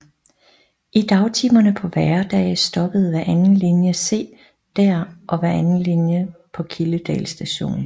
I dagtimerne på hverdage stoppede hver anden linje C der og hver anden på Kildedal Station